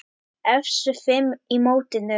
Efstu fimm í mótinu